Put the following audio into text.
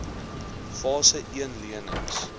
fase een lenings